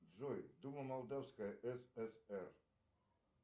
джой дума молдавской сср